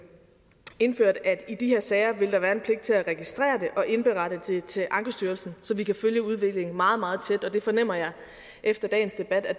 indført at der i de her sager vil være en pligt til at registrere det og indberette det til ankestyrelsen så vi kan følge udviklingen meget meget tæt og det fornemmer jeg efter dagens debat at